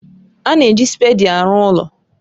A na-eji spèdi arụ ụlọ